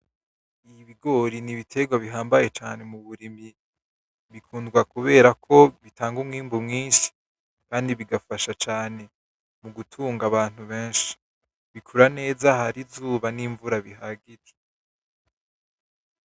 Ibigori nibitegwa bihambaye cane muburimyi, bikundwa kuberako bitanga imwimbu mwinshi kandi bigafasha cane mugutunga abantu benshi. Bikura neza ahari izuba nimvura bihagije.